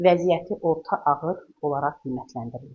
Vəziyyəti orta ağır olaraq qiymətləndirilir.